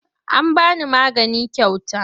An ba ni magani kyauta.